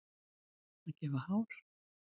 Að gefa hár